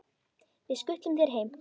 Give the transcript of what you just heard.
Við skutlum þér heim!